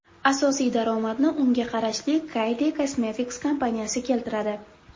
Asosiy daromadni unga qarashli Kylie Cosmetics kompaniyasi keltiradi.